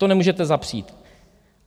To nemůžete zapřít.